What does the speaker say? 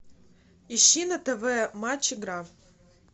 ищи на тв матч игра